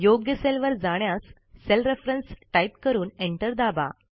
योग्य सेलवर जाण्यास सेल रेफरन्स टाईप करून एंटर दाबा